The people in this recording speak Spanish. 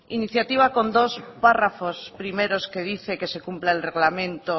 iniciativa con dos párrafos primeros que dice que se cumpla el reglamento